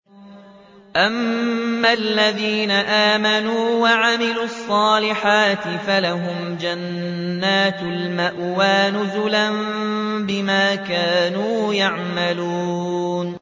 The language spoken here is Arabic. أَمَّا الَّذِينَ آمَنُوا وَعَمِلُوا الصَّالِحَاتِ فَلَهُمْ جَنَّاتُ الْمَأْوَىٰ نُزُلًا بِمَا كَانُوا يَعْمَلُونَ